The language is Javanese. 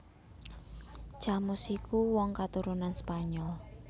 Camus iku wong katurunan Spanyol